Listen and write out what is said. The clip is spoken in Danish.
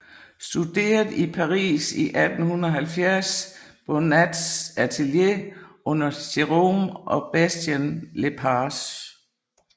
Studeret i Paris i 1870 på Bonnats atelier under Gerome og Bastièn Lepage